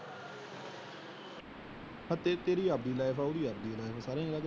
ਤੇਰੀ ਆਵਦੀ ਲੈਟ ਏ। ਓਹਦੀ ਆਵਦੀ ।